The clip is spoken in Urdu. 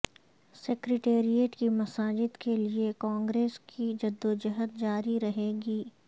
سکریٹریٹ کی مساجد کیلئے کانگریس کی جدوجہد جاری رہے گی